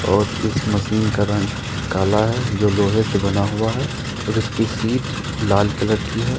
और इस मशीन का रंग काला है जो लोहे से बना हुआ है और इसकी सीट लाल कलर की है।